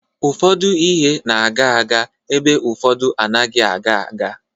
Ụfọdụ ihe na-aga aga ebe ụfọdụ anaghị aga aga.